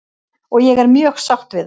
Og ég er mjög sátt við það.